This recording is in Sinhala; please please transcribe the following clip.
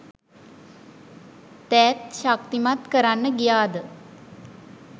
දෑත් ශක්තිමත් කරන්න ගියාද?